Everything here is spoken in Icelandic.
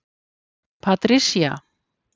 Patricia